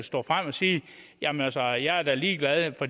stå frem og sige jamen altså jeg er da ligeglad for